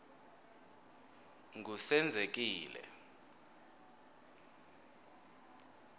ngusenzekile